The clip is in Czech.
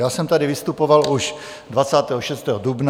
Já jsem tady vystupoval už 26. dubna, poté 27. dubna.